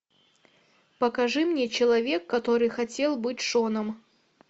покажи мне человек который хотел быть шоном